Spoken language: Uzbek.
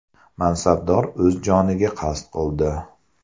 Mansabdor o‘z joniga qasd qildi.